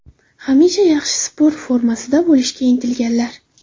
Hamisha yaxshi sport formasida bo‘lishga intilganlar.